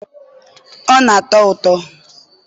ọ na-atọ ụtọ?